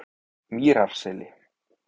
Mýrarseli